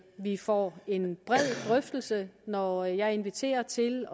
vi får en bred drøftelse når jeg inviterer til